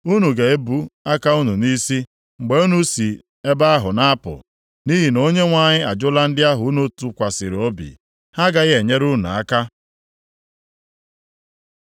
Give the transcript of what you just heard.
Unu ga-ebu aka unu nʼisi mgbe unu si ebe ahụ na-apụ, nʼihi na Onyenwe anyị ajụla ndị ahụ unu tụkwasịrị obi. Ha agaghị enyere unu aka.